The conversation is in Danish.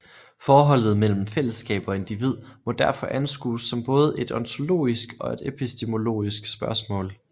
Forholdet mellem fællesskab og individ må derfor anskues som både et ontologisk og et epistemologisk spørgsmål